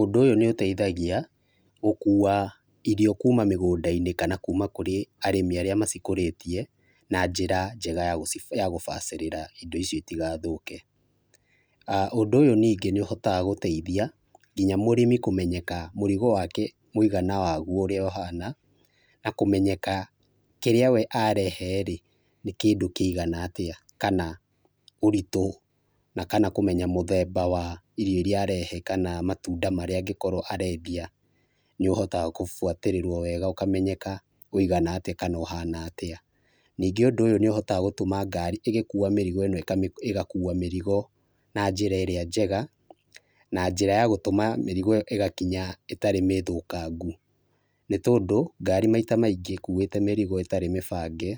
Ũndũ ũyũ nĩũteithagia gũkua irio kuma mĩgũndainĩ kana kuma kũrĩ arĩmi arĩa macikũrĩtie na njĩra njega ya kũbacĩrĩra indo icio itigathũke. Ũndũ ũyũ ningĩ nĩũteithagia nginya mũrĩmi kũmenyeka mũrigo wake mũgana waguo ũrĩa ũhana, na kũmenyeka kĩrĩa wee arehe rĩ nĩ kĩndũ kĩigana atia, kana ũritũ kana kũmenya mũthemba wa irio iria arehe, kana matunda marĩa angĩkorwo arendia nĩũhotaga kũbuatĩrĩrwo wega ũkamenyeka wũigana atia kana ũhana atĩa. Ningĩ ũndũ ũyũ nĩũhotaga gũtũma ngari ĩgĩkua mĩrigo ĩno ĩgakua mĩrigo na njĩra ĩrĩa njega, na njĩra ya gũtũma mĩrigo ĩyo ĩgakinya ĩtarĩ mĩthũkangu, nĩ tondũ ngari maita maingĩ ĩkuĩte mĩrigo ĩtarĩ mĩbange,